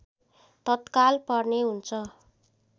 तत्काल पर्ने हुन्छ